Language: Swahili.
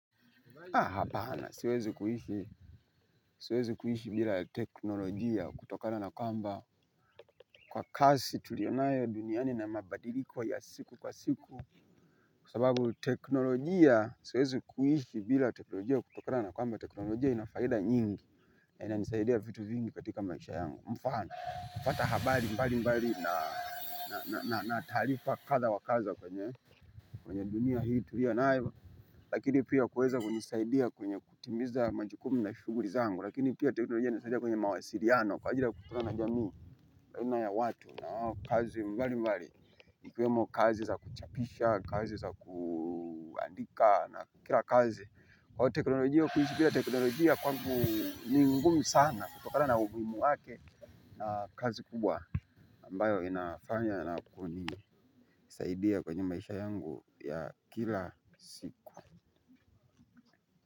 Aah hapana siwezi kuishi bila teknolojia kutokana na kwamba kwa kazi tuliyo nayo duniani na mabadiliko ya kila siku. Kwa sababu teknolojia, siwezi kuishi bila teknolojia kutokana na kwamba teknolojia ina faida nyingi. Na inanisaidia vitu vingi katika maisha yangu, mfano kupata habari mbali mbali na taarifa kadha wa kadha kwenye dunia hii tuliyo nayo. Lakini pia huweza kunisaidia kwenye kutimiza majukumu na shughuli zangu lakini pia teknolojia inanisaidia kwenye mawasiliano kwa ajili ya kukutana na jamii baina ya watu na kazi mbali mbali ikiwemo kazi za kuchapisha kazi za kuandika na kila kazi kwa teknolojia kuishi pia teknolojia kwamgu ni ngumu sana kutokana na umuhimu wake. Na kazi kubwa ambayo inafanya na kunisaidia kwenye maisha yangu ya kila siku.